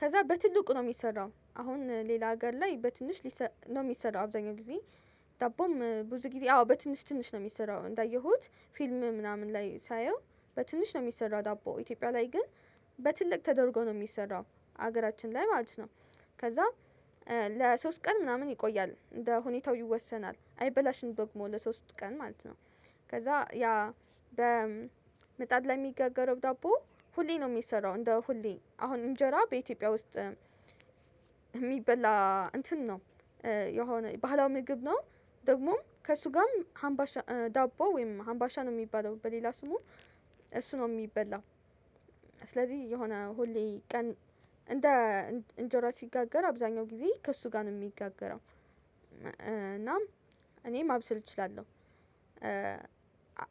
ከዛ በትልቁ ነው የሚሰራው አሁን ሌላ ሀገር ላይ በትንሽ ነው የሚሰራው አብዛኛው ጊዜ። ዳቦም ብዙ ጊዜ አዎ በትንሽ ትንሽ ነው የሚሰራው እንዳየሁት ፊልም ምናምን ላይ ሳየው በትንሽ ነው የሚሰራው ዳቦ ኢትዮጵያ ላይ ግን በትልቅ ተደርጎ ነው የሚሰራው። ሀገራችን ላይ ማለት ነው ከዛ ለሶስት ቀን ምናምን ይቆያል ለሁኔታው ይወሰናል አይበላሽም በግሞ ለሶስት ቀን ማለት ነው። ከዛ ያ በመጣድ ላይ የሚጋገረው ዳቦ ሁሌ ነው የሚሰራው እንደ ሁሌ አሁን እንጀራ በኢትዮጵያ ውስጥ። የሚበላ እንትን ነው የሆነ ባህላዊ ምግብ ነው። ደግሞም ከእሱ ጋርም ሀምባሻ ዳቦ ወይም ሀምባሻ ነው የሚባለው በሌላ ስሙ እሱ ነው የሚበላው። ስለዚህ የሆነ ሁሌ ቀን እንደ እንጀራ ሲጋገር አብዛኛው ጊዜ ከእሱ ጋር ነው የሚጋገረው። እና እኔም ማብሰል እችላለሁ።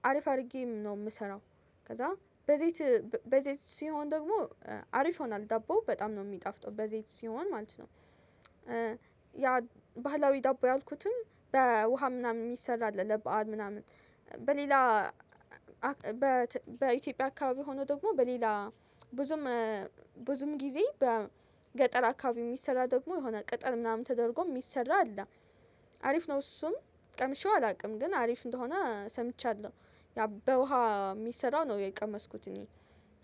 አሪፍ አድርጌ ነው የምሰራው። ከዛ በዘይት በዘይት ሲሆን ደግሞ አሪፍ ሆናል ዳቦው በጣም ነው የሚጣፍጠው በዘይት ሲሆን ማለት ነው። ያ ባህላዊ ዳቦ ያልኩትም በውሃ ምናምን የሚሰራ አለ ለበአል ምናምን በሌላ በኢትዮጵያ አካባቢ ሆኖ ደግሞ በሌላ ብዙም ብዙም ጊዜ በገጠር አካባቢ የሚሰራ ደግሞ የሆነ ቅጥል ምናምን ተደርጎ የሚሰራ አለ። አሪፍ ነው እሱም ቀምሼው አላውቅም ግን አሪፍ እንደሆነ ሰምቻለሁ። ያ በውሃ የሚሰራው ነው የቀመስኩት እኔ።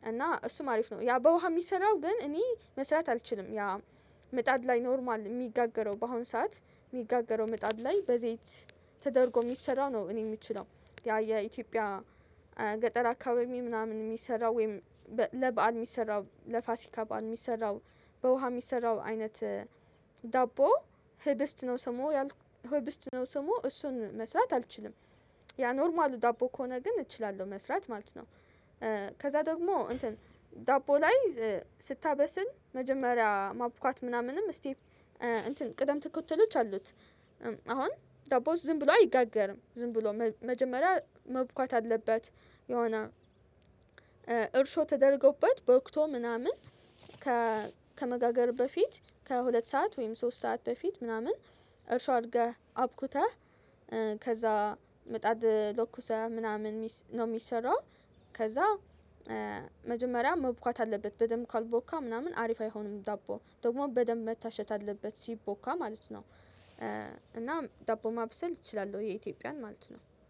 እና እሱም አሪፍ ነው ያ በውሃ የሚሰራው ግን እኔ መስራት አልችልም። ያ ምጣድ ላይ ኖርማል የሚጋገረው በአሁን ሰዓት የሚጋገረው ምጣድ ላይ በዘይት ተደርጎ የሚሰራው ነው እኔ የምችለው። ያ የኢትዮጵያ ገጠር አካባቢ ምናምን የሚሰራው ወይም ለበአል የሚሰራው ለፋሲካ በዓል የሚሰራው በውሃ የሚሰራው አይነት ዳቦ ሄበስት ነው ሰሞ ሄበስት ነው ሰሞ እሱን መስራት አልችልም። ያ ኖርማሉ ዳቦ ከሆነ ግን እችላለሁ መስራት ማለት ነው። ከዛ ደግሞ እንትን ዳቦ ላይ ስታበስል መጀመሪያ ማብካት ምናምንም ስቴፕ ቅደም ትኩረት አሉት። አሁን ደቦው ዝም ብሎ አይጋገርም ዝም ብሎ መጀመሪያ መቡካት አለበት። የሆነ እርሾ ተደርጎበት ቦክቶ ምናምን ከመጋገር በፊት ከሁለት ሰዓት ወይም ሶስት ሰዓት በፊት ምናምን እርሻ አድርገህ አብኩተህ ከዛ ምጣድ ለኩሰህ ምናምን ነው የሚሰራው። ከዛ መጀመሪያ መብካት አለበት በደንብ ካልቦካ ምናምን አሪፍ አይሆንም ዳቦ ደግሞ በደንብ መታሸት አለበት ሲቦካ ማለት ነው። እና ዳቦ ማብሰል እችላለሁ የኢትዮጵያን ማለት ነው